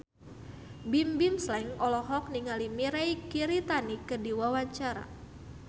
Bimbim Slank olohok ningali Mirei Kiritani keur diwawancara